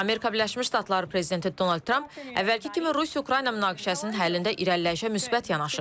Amerika Birləşmiş Ştatları prezidenti Donald Tramp əvvəlki kimi Rusiya-Ukrayna münaqişəsinin həllində irəliləyişə müsbət yanaşır.